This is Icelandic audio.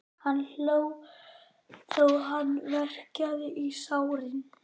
Hann hló þó hann verkjaði í sárin.